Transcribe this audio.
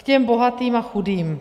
K těm bohatým a chudým.